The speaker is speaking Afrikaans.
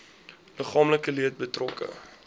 liggaamlike leed betrokke